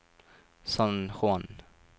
San Juan